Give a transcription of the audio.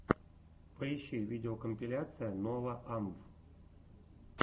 поищи видеокомпиляция нова амв